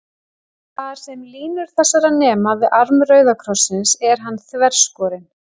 Þar, sem línur þessar nema við arm rauða krossins, er hann þverskorinn.